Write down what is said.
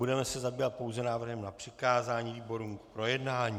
Budeme se zabývat pouze návrhem na přikázání výborům k projednání.